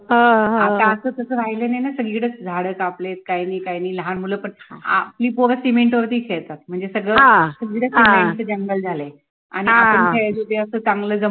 आता असं तसं राहिलं नाय ना सगळीकडं झाडं कापलेत काहींनी, काहींनी लहान मुलं पण आ आपली पोरं cement वरती खेळतात म्हणजे सगळं cement चं जंगल झालंय आणि आपण खेळायचो ते असं चांगलं